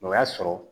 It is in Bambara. O y'a sɔrɔ